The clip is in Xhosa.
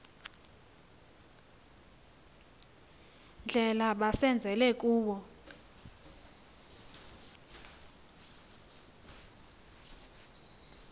ndlela bazenzele kuwo